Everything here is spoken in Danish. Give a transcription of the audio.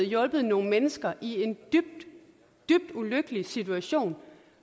hjulpet nogle mennesker i en dybt dybt ulykkelig situation og